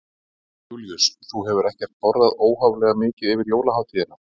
Jón Júlíus: Þú hefur ekkert borðað óhóflega mikið yfir jólahátíðina?